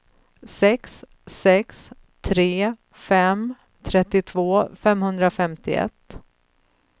sex sex tre fem trettiotvå femhundrafemtioett